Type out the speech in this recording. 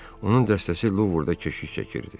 Onun dəstəsi Luvrda keşik çəkirdi.